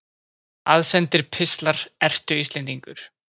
Aðsendir pistlar Ertu Íslendingur?